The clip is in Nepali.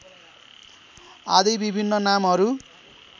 आदि विभिन्न नामहरू